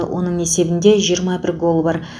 оның есебінде жиырма бір гол бар